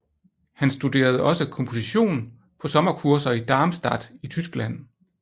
Han studerede også komposition på sommerkurser i Darmstadt i Tyskland